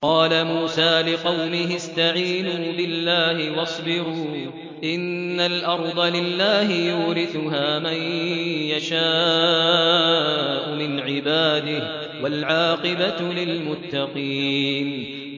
قَالَ مُوسَىٰ لِقَوْمِهِ اسْتَعِينُوا بِاللَّهِ وَاصْبِرُوا ۖ إِنَّ الْأَرْضَ لِلَّهِ يُورِثُهَا مَن يَشَاءُ مِنْ عِبَادِهِ ۖ وَالْعَاقِبَةُ لِلْمُتَّقِينَ